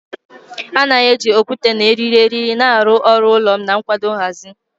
A na-eji okwute na eriri eriri na-arụ ọrụ ulo na nkwado nhazi.